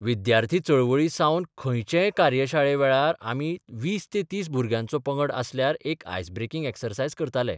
विद्यार्थी चळवळी सावन खंयचेय कार्यशाळे वेळार आमी 20-30 भुरग्यांचो पंगड आसल्यार एक आयस ब्रेकिंग ॲक्सरसायज करताले.